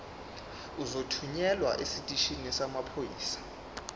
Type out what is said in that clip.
uzothunyelwa esiteshini samaphoyisa